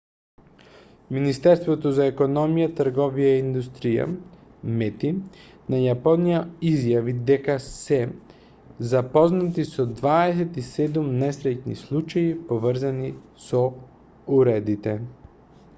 министерството за економија трговија и индустрија мети на јапонија изјави дека се запознати со 27 несреќни случаи поврзани со уредите